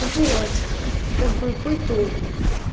вот как бы по итогу